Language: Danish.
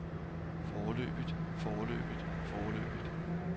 foreløbigt foreløbigt foreløbigt